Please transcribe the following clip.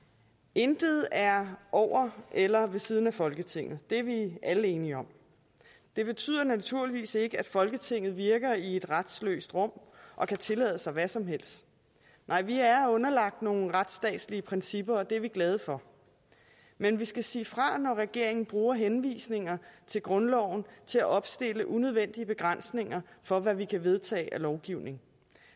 intet er over eller ved siden af folketinget det er vi alle enige om det betyder naturligvis ikke at folketinget virker i et retsløst rum og kan tillade sig hvad som helst nej vi er underlagt nogle retstatsprincipper og det er vi glade for men vi skal sige fra når regeringen bruger henvisninger til grundloven til at opstille unødvendige begrænsninger for hvad vi kan vedtage af lovgivning